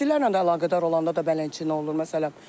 İstilərlə də əlaqədar olanda da belə nə olur, məsələn?